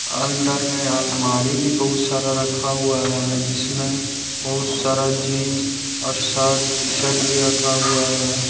अंदर में अलमारी भी बहुत सारा रखा हुआ है जिसमें बहुत सारा जींस और शर्ट टी शर्ट भी रखा हुआ है।